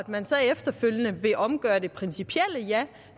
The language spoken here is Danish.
man så efterfølgende vil omgøre det principielle ja